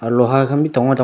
aro loha khan b dangor dangor.